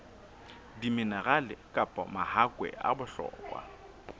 diminerale kapa mahakwe a bohlokwa